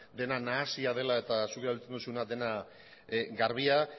dena nahasia dela eta zuk erabiltzen duzuna dena garbia